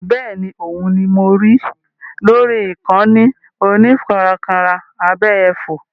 Bẹ́ẹ̀ni, òun ni mo rí lórí ìkànnì onífarakínra abẹ́yẹfò.